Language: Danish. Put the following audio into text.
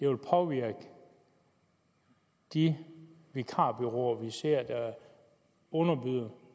vil påvirke de vikarbureauer vi ser underbyde